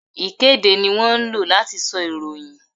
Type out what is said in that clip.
Ìkéde ni wón ńlò láti sọ ìròyìn